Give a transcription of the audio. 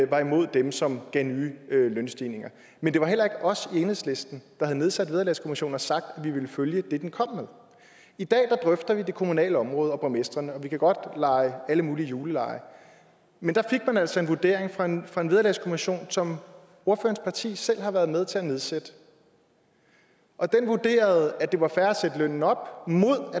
var imod dem som gav nye lønstigninger men det var heller ikke os i enhedslisten der havde nedsat vederlagskommissionen og sagt at vi ville følge det den kom med i dag drøfter vi det kommunale område og borgmestrene og vi kan godt lege alle mulige julelege men der fik man altså en vurdering fra en vederlagskommission som ordførerens parti selv har været med til at nedsætte og den vurderede at det var fair at sætte lønnen op